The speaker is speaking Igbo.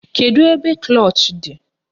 Kedu ebe klọch dị?